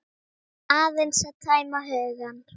Aðeins að tæma hugann.